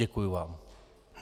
Děkuji vám.